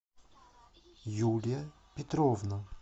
юлия петровна